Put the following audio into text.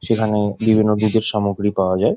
সেইখানে বিবর্ণ দুধের সামগ্রি পাওয়া যায় ।